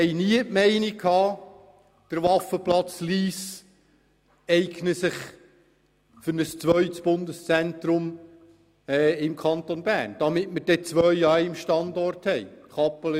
Wir waren nie der Meinung, dass sich der Waffenplatz in Lyss für ein zweites Bundeszentrum im Kanton Bern eignet, damit wir dann zwei am gleichen Standort haben.